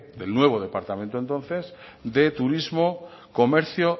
del nuevo departamento entonces de turismo comercio